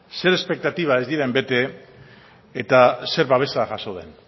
zer espektatibak ez diren bete eta zer babesa jaso den